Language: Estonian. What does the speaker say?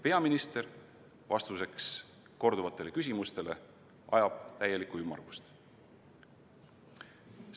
Peaminister ajab vastuseks selleteemalistele korduvatele küsimustele täiesti ümmargust juttu.